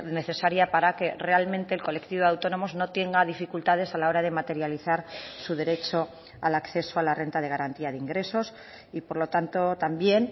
necesaria para que realmente el colectivo de autónomos no tenga dificultades a la hora de materializar su derecho al acceso a la renta de garantía de ingresos y por lo tanto también